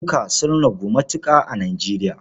Dazuka sun ragu matuƙa yanzu a Nijeriya.